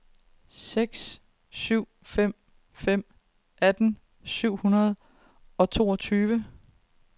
seks syv fem fem atten syv hundrede og toogtyve